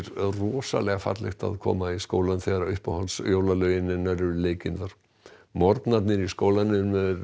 rosalega fallegt að koma í skólann þegar uppáhalds jólalögin hennar eru leikin þar morgnanir í skólanum eru